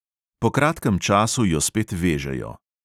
Po kratkem času jo spet "vežejo".